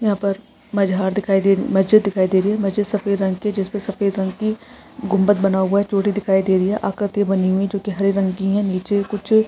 यहां पर मजार दिखाई दे मस्जिद दिखाई दे रही है मस्जिद सफेद रंग की जिस पे सफेद रंग की गुंबद बना हुआ है चोटी दिखाई दे रही है आकृति बनी हुई है जो की हरे रंग की है। नीचे कुछ--